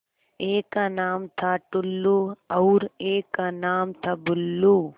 एक का नाम था टुल्लु और एक का नाम था बुल्लु